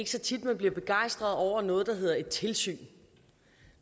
så tit man bliver begejstret over noget der hedder et tilsyn